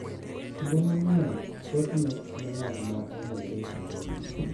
Kinde mang’eny, thothne en ng’at ma ong’ere ahinya.